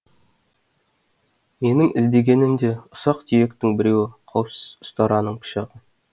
менің іздегенім де ұсақ түйектің біреуі қауіпсіз ұстараның пышағы